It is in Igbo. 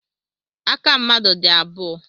Aka mmadụ dị abụọ.